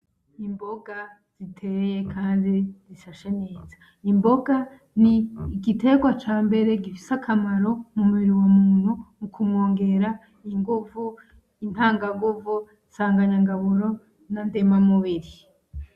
Imboga ziteye Kandi zishashe neza. Imboga n'igiterwa cambere gifise akamaro mumubiri w'umuntu mukumwongera inguvu, intanganguvu, nsanganyangaburo, na ndemamubiri.